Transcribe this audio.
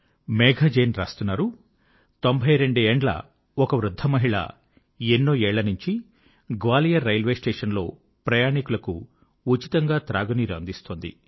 మేఘా జైన్ రాస్తున్నారు 92 ఏండ్ల ఒక వృద్ధమహిళ ఎన్నో ఏళ్ళనుంచి గ్వాలియర్ రైల్వేస్టేషంలో ప్రయాణీకులకు ఉచితంగా త్రాగునీరు అందిస్తోంది